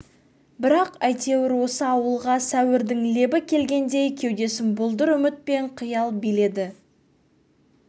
бірақ әйтеуір осы ауылға сәуірдің лебі келгендей кеудесін бұлдыр үміт пен қиял биледі